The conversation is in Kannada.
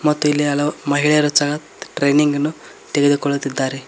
ಮತ್ತು ಇಲ್ಲಿ ಹಲವು ಮಹಿಳೆಯರು ಸಹ ಟ್ರೈನಿಂಗ್ ಅನ್ನು ತೆಗೆದುಕೊಳ್ಳುತ್ತಿದ್ದಾರೆ.